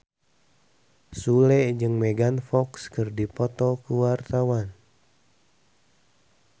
Sule jeung Megan Fox keur dipoto ku wartawan